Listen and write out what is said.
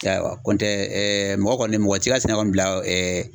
I y'a ye wa kɔntɛ mɔgɔ kɔni mɔgɔ t'i ka sɛnɛ bila